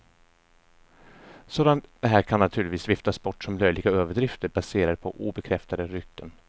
Sådant här kan naturligtvis viftas bort som löjliga överdrifter, baserade på obekräftade rykten.